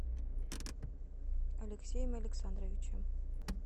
алексеем александровичем